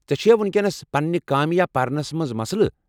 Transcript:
ژےٚ چھُیا وُنکیٚنس پننہ کامہ یا پرنَس منٛز مسلہٕ؟